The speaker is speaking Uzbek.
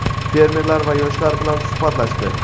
fermerlar va yoshlar bilan suhbatlashdi.